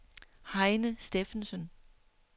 Heine Steffensen